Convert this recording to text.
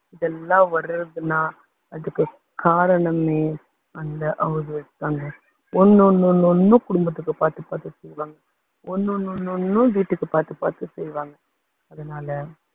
இதெல்லாம் வர்றதுன்னா அதுக்கு காரணமே அந்த house wife தாங்க ஒண்ணு ஒண்ணு ஒண்ணு ஒண்ணும் குடும்பத்துக்கு பாத்து பாத்து செய்வாங்க ஒண்ணு ஒண்ணு ஒண்ணு ஒண்ணும் வீட்டுக்கு பாத்து பாத்து செய்வாங்க, அதனால